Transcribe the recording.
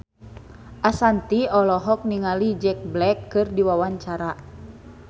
Ashanti olohok ningali Jack Black keur diwawancara